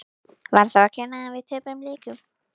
Var það mér að kenna að við töpuðum leikjum?